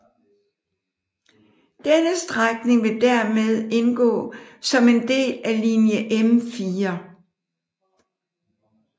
Denne strækning vil dermed indgå som en del af linje M4